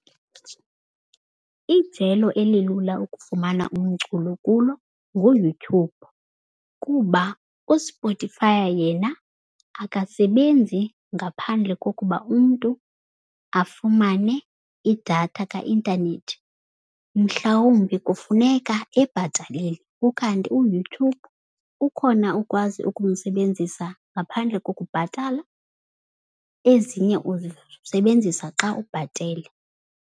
Ijelo eli lula ukufumana umculo kulo nguYouTube kuba uSpotifay yena akasebenzi ngaphandle kokuba umntu afumane idatha kaintanethi. Mhlawumbi kufuneka ebhatalele ukanti uYouTube ukhona ukwazi ukumsebenzisa ngaphandle kokubhatala ezinye uzisebenzisa xa ubhatele.